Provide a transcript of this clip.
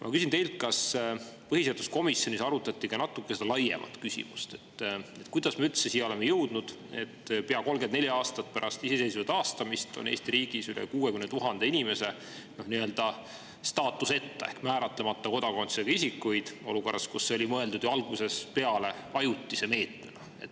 Ma küsin teilt, kas põhiseaduskomisjonis arutati natuke ka seda laiemat küsimust, kuidas me üldse oleme jõudnud olukorda, kus pea 34 aastat pärast iseseisvuse taastamist on Eesti riigis üle 60 000 inimese staatuseta ehk määratlemata kodakondsusega, kuigi see oli mõeldud ju algusest peale ajutise meetmena.